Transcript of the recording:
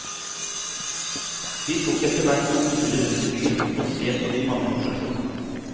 Vi tok etterhvert noen turer rundt i byen for å se på de mange attraksjonene.